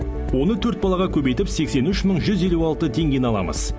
оны төрт балаға көбейтіп сексен үш мың жүз елу алты теңгені аламыз